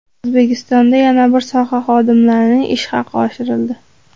O‘zbekistonda yana bir soha xodimlarining ish haqi oshirildi.